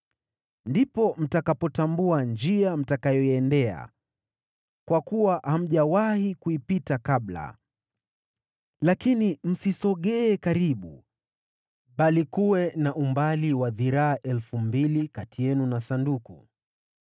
Ndipo mtakapotambua njia mtakayoiendea, kwa kuwa hamjawahi kuipita kabla. Lakini msisogee karibu, bali kuwe na umbali wa dhiraa 2,000 kati yenu na Sanduku.”